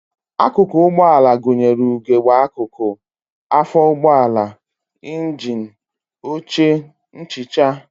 Akụkụ ụgbọala gụnyere ugegbe akụkụ, afọ ụgbọala, njini, oche, nchicha